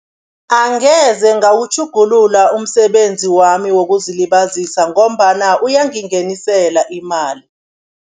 Angeze ngawukutjhugulula umsebenzi wami wokuzilibazisa ngombana uyangingenisela imali.